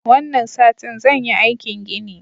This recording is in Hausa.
Wannan satin zan yi aikin gini.